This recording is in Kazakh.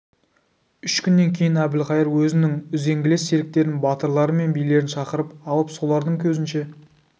үш күннен кейін әбілқайыр өзінің үзеңгілес серіктерін батырлары мен билерін шақырып алып солардың көзінше